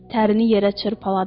Tərini yerə çırpaladı.